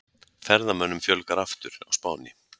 Ferðamönnum fjölgar aftur á Spáni